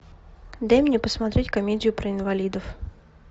дай мне посмотреть комедию про инвалидов